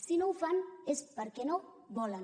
si no ho fan és perquè no volen